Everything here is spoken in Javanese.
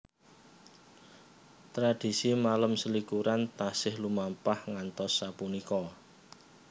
Tradhisi malem selikuran taksih lumampah ngantos sapunika